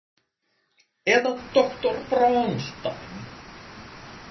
Eða doktor Bronstein?